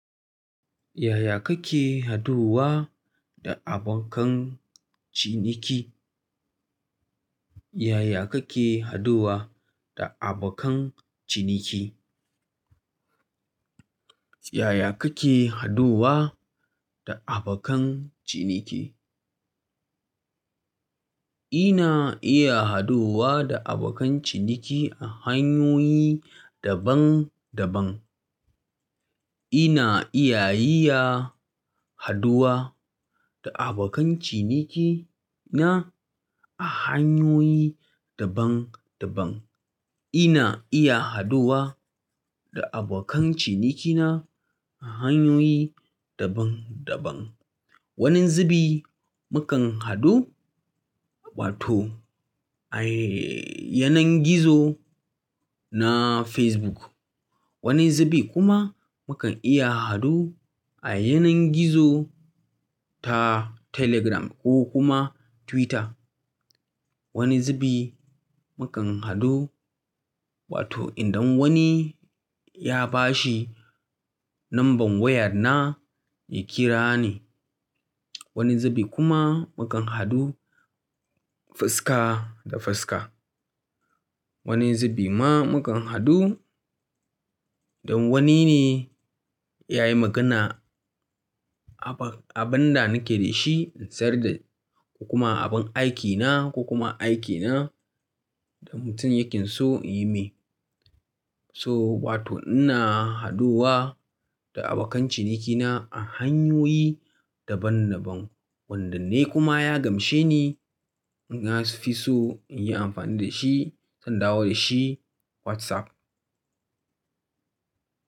Ya ya kake haɗuwa da abokan ciniki? Yaya kake haduwa da abokan ciniki? Yaya kake haduwa da abokan ciniki? Ina iya haduwa da abokan ciniki a hanyoyi daban daban. Ina iya haɗuwa da abokan cinikina a hanyoyi daban-daban. Ina iya haduwa da abokan ciniki na a hanyoyi daban daban. Wani zubi mukan haɗu, wato a yanar gizo na Facebook. Wani zubi kuma mukan iya hadu a yanar gizo ta Telegram ko kuma Twitter. Wani zubi mukan haɗu, wato idan wani ya bashi number wayana ya kira ni. Wani zubi kuma mukan hadu fuska da fuska. Wani zubi ma mukan hadu idan wani ne ya yi magana abin da nake da shi in sayar ko kuma abin aikina ko kuma aikina da mutum yake so in yi mai. So wato ina haduwa da abokan ciniki na a hanyoyi daban daban. Wanda ni kuma ya gamshe ni na fi so in yi amfani da shi, zan dawo da shi WhatsApp.